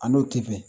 A n'o tɛ